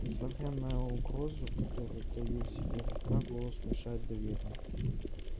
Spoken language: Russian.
несмотря на угрозу которую таил в себе рука голос внушает доверие